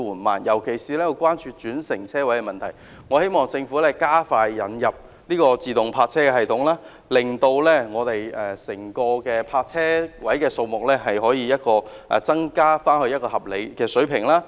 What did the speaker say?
我們尤其關注轉乘車位的問題，希望政府加快引入自動泊車系統，令整體泊車位數目可增加至合理水平。